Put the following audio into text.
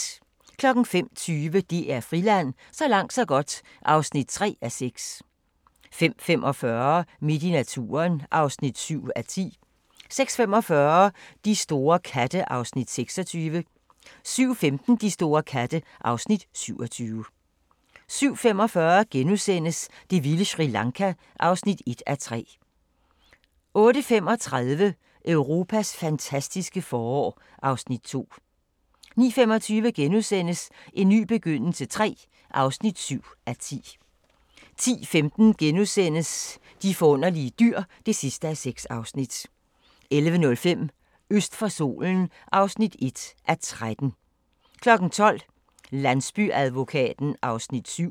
05:20: DR Friland: Så langt så godt (3:6) 05:45: Midt i naturen (7:10) 06:45: De store katte (Afs. 26) 07:15: De store katte (Afs. 27) 07:45: Det vilde Sri Lanka (1:3)* 08:35: Europas fantastiske forår (Afs. 2) 09:25: En ny begyndelse III (7:10)* 10:15: De forunderlige dyr (6:6)* 11:05: Øst for solen (1:13) 12:00: Landsbyadvokaten (7:18)